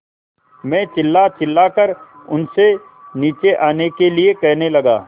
मैं चिल्लाचिल्लाकर उनसे नीचे आने के लिए कहने लगा